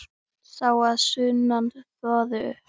Sá að sunnan þvoði upp.